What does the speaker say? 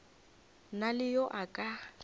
na le yo a ka